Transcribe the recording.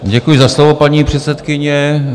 Děkuji za slovo, paní předsedkyně.